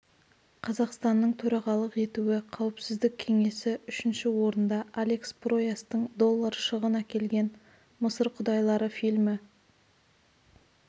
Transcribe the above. қазақстанның төрағалық етуі қауіпсіздік кеңесі үшінші орында алекс пройастың доллар шығын әкелген мысыр құдайлары фильмі